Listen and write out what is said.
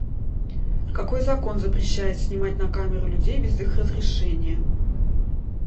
какой закон запрещает снимать на камеру людей без их разрешения